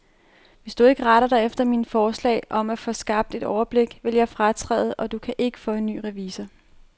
Hvis du ikke retter dig efter mine forslag om at få skabt et overblik, vil jeg fratræde, og du kan ikke få en ny revisor.